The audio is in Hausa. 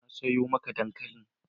Na sayo maka dankali.